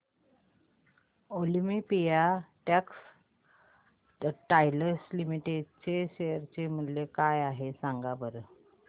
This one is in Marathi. ऑलिम्पिया टेक्सटाइल्स लिमिटेड चे शेअर मूल्य काय आहे सांगा बरं